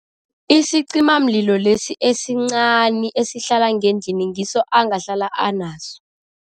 Isicimamlilo lesi esincani esihlala ngendlini, ngiso angahlala anaso.